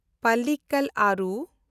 ᱯᱟᱞᱞᱤᱠᱟᱞ ᱟᱨᱩ